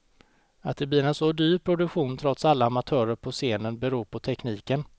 Att det blir en så dyr produktion, trots alla amatörer på scen, beror på tekniken.